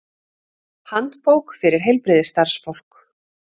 Handbók fyrir heilbrigðisstarfsfólk.